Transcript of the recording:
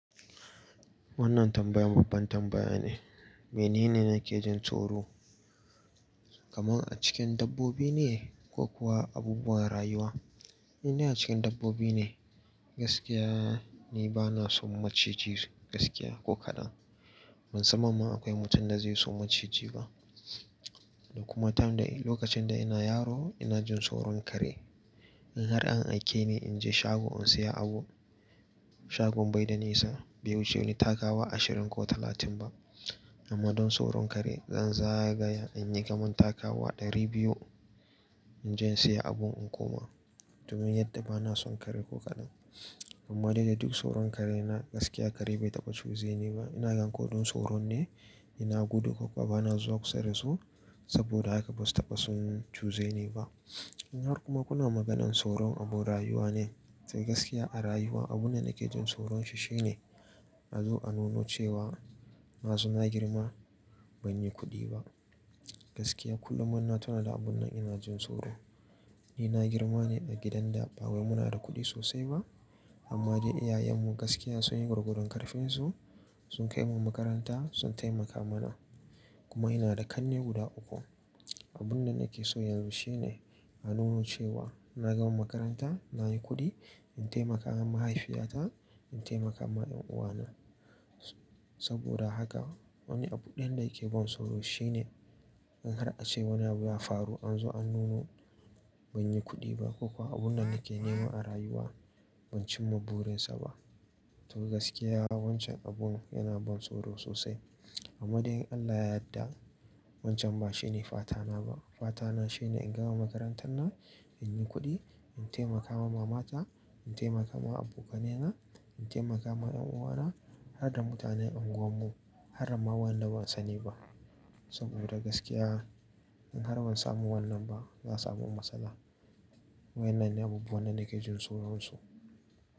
Wannan tambayan babban tambaya ne. Menene nake jin tsoro? Kaman a cikin dabbobi ne ko kuwa abubuwan rayuwa? In dai a cikin dabbobi ne. Gaskiya ni bana son maciji gaskiya ko kaɗan. Ban san mamman akwai mutum da zai so maciji ba. Da kuma time da in lokacin da ina yaro ina jin tsoron kare. In har an aike ni in je shago in saya abu, shagon bai da nisa, bai wuce in yi takawa ashirin ko talatin ba. Amma don tsoron kare zan zagaya in yi gamon takawa ɗari biyu in je in saya abun in koma. Domin yadda bana son kare ko kaɗan. Amma dai da duk tsoron karena gaskiya kare bai taɓa cuze ni ba. Ina gan ko dun tsoron ne, ina gudu kuma bana zuwa kusa da su saboda haka basu taɓa sun cuze ni ba. In har kuma kuna maganan tsoron abun rayuwa ne, sai gaskiya a rayuwa abunda nake jin tsoron shi shine a zo a nuno cewa masu na girma ban yi kuɗi ba. Gaskiya kullum ma ina tuna da abun nan ina jin tsoro. Ni na girma ne a gidan da ba wai muna da kuɗi sosai ba. Amma dai iyayen mu gaskiya sun yi gurgudun ƙarfinsu sun kai mu makaranta sun taimaka mana. Kuma ina da ƙanne guda uku. Abun da nake so yanzu shine a nuno cewa na gama makaranta, nayi kuɗi, in taimaka wa mahaifiyata, in taimaka ma ƴan uwana. Saboda haka wani abu ɗayan da yake bani tsoro shine in har a ce wani abu ya faru an zo an nuno ban yi kuɗi ba ko kuwa abun da nake nema a rayuwa ban cimma burin sa ba. To gaskiya wancan abun yana bani tsoro sosai. Amma dai in Allah ya yadda wancan ba shine fata na ba. Fata na shine in gama makarantar nan, in yi kuɗi, in taimaka wa mamata, in taimaka ma abokanai na, in taimaka ma ƴan uwana har da mutanen anguwan mu har da ma waɗanda ban sani ba. Saboda gaskiya in har ban samu wannan ba za a samu matsala. Wa innan ne abubuwan da nake jin tsoron su.